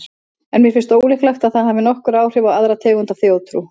En mér finnst ólíklegt að það hafi nokkur áhrif á aðra tegund af þjóðtrú.